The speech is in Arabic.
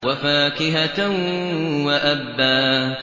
وَفَاكِهَةً وَأَبًّا